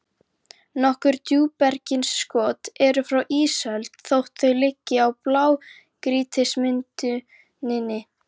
Nokkur djúpbergsinnskot eru frá ísöld þótt þau liggi í blágrýtismynduninni.